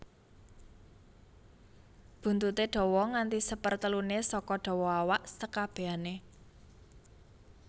Buntuté dawa nganti seperteluné saka dawa awak sekabèané